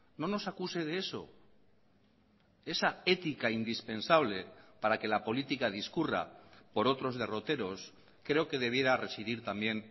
no nos acuse de eso esa ética indispensable para que la política discurra por otros derroteros creo que debiera residir también